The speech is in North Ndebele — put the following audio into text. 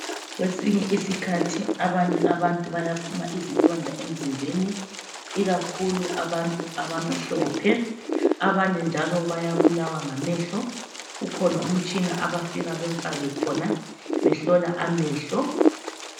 Kwesinye isikhathi abanye abantu bayaphuma izilonda emzimbeni, ikakhulu abantu abamhlophe. Abanye njalo bayabulawa ngamehlo. Ukhona umtshina abafika bemfake khona behlola amehlo.